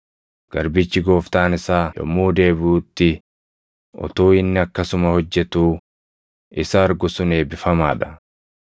Garbichi gooftaan isaa yommuu deebiʼutti utuu inni akkasuma hojjetuu isa argu sun eebbifamaa dha.